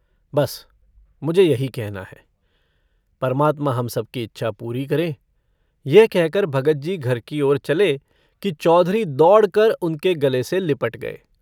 बस मुझे यही कहना है। परमात्मा हम सब की इच्छा पूरी करें। यह कहकर भगतजी घर की ओर चले कि चौधरी दौड़कर उनके गले से लिपट गए।